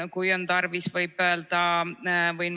Kui on tarvis, võin öelda ka nimed.